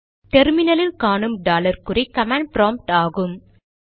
terminal இல் காணும் dollar குறி கமாண்ட் ப்ராம்ப்ட் ஆகும்